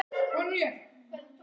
Ástunda göfugan hugsanagang.